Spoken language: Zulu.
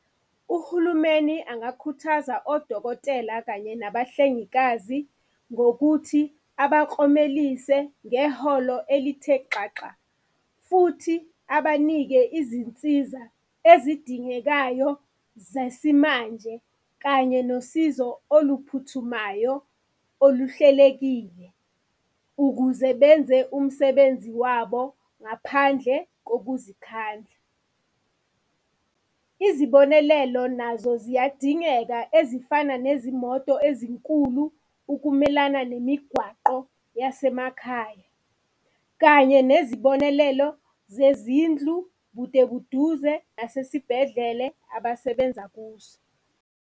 Uhulumeni engakukhuthaza odokotela kanye nabahlengikazi ngokuthi abaklomelise ngeholo elithe xaxa, futhi abanike izinsiza ezidingekayo zesimanje kanye nosizo oluphuthumayo oluhlelekile ukuze benze umsebenzi wabo ngaphandle ngokuzikhandla. Izibonelelo nazo ziyadingeka ezifana nezimoto ezinkulu, ukumelana nemigwaqo yasemakhaya, kanye nezibonelelo zezindlu bude buduze nasesibhedlele abasebenza kuso.